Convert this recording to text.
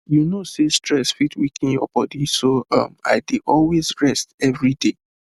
you know sey stress fit weaken your body so um i dey always rest every day